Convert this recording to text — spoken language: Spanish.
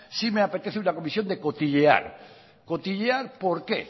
s me apetece una comisión de cotillear cotillear por qué